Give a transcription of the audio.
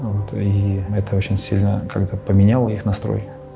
вот и это очень сильно как то поменяла их настрой